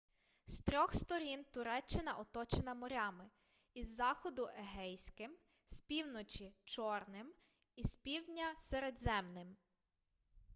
з трьох сторін туреччина оточена морями із заходу егейським з півночі чорним і з півдня середземним